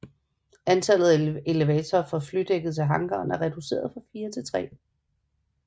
Antallet af elevatorer fra flydækket til hangaren er reduceret fra fire til tre